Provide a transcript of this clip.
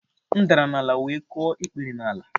M dara n'ala wee kụọ ikpere n'ala